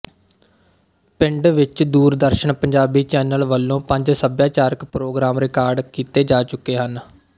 ਪਿੰਡ ਵਿੱਚ ਦੂਰਦਰਸ਼ਨ ਪੰਜਾਬੀ ਚੈਨਲ ਵੱਲੋਂ ਪੰਜ ਸੱਭਿਆਚਾਰਕ ਪ੍ਰੋਗਰਾਮ ਰਿਕਾਰਡ ਕੀਤੇ ਜਾ ਚੁੱਕੇ ਹਨ